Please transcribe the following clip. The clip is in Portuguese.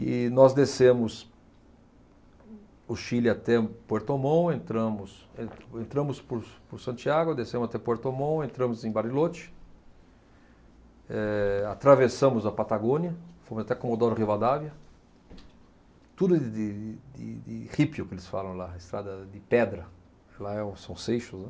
E nós descemos o Chile até Puerto Montt, entramos, en, entramos por, por Santiago, descemos até Puerto Montt, entramos em Bariloche, eh, atravessamos a Patagônia, fomos até Comodoro Rivadavia, tudo de, de, de rípio que eles falam lá, estrada de pedra, lá é o, são seixos, né.